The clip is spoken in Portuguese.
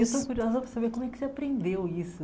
Eu estou curiosa para saber como é que você aprendeu isso.